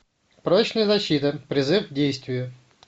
прочная защита призыв к действию